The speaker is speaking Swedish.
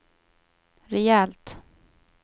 rejält